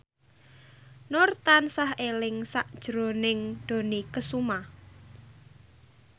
Nur tansah eling sakjroning Dony Kesuma